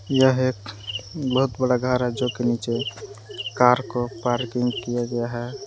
यह एक बहुत बड़ा घर है जो कि नीचे कार को पार्किंग किया गया है।